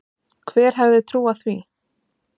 Hver hefði trúað því?